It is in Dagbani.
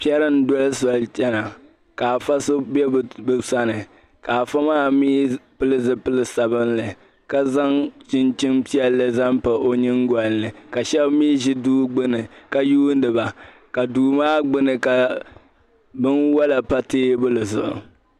Pɛri n doli soli n chana ka afa so be bɛ sani ka afa maa pili zipili sabinli, ka zaŋ chinchini piɛli pa ɔ nyiŋgolini, ka shabimi ʒi duu gbuni ka lihiriba, ka duu maa gbuni ka bɛn wala pa tee buli zuɣu.